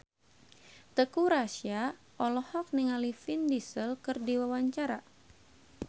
Teuku Rassya olohok ningali Vin Diesel keur diwawancara